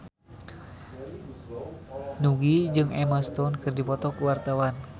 Nugie jeung Emma Stone keur dipoto ku wartawan